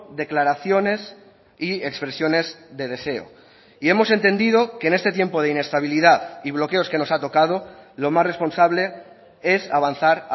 declaraciones y expresiones de deseo y hemos entendido que en este tiempo de inestabilidad y bloqueos que nos ha tocado lo más responsable es avanzar